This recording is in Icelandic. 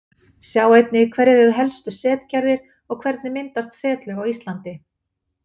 Sjá einnig: Hverjar eru helstu setgerðir og hvernig myndast setlög á Íslandi?